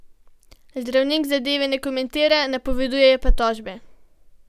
Zdravnik zadeve ne komentira, napoveduje pa tožbe.